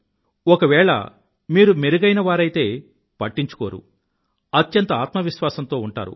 ఒకవేళ మీరు మెరుగైనవారైతే పట్టించుకోరు అత్యంత ఆత్మవిశ్వాసంతో ఉంటారు